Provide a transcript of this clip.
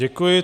Děkuji.